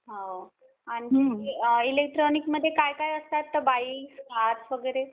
हो आणि इलेक्ट्रॉनिक मध्ये काय काय असतं? बाईक्स, कार वगैरे.